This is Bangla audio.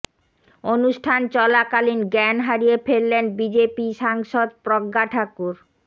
অনুষ্ঠান চলাকালীন জ্ঞান হারিয়ে ফেললেন বিজেপি সাংসদ প্রজ্ঞা ঠাকুর